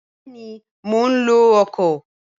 Bẹẹni ma lo ọkọ.